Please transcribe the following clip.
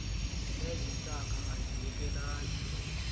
ezi ntaka aziyekelani